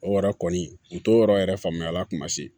O yɛrɛ kɔni u t'o yɔrɔ yɛrɛ faamuya a la kuma se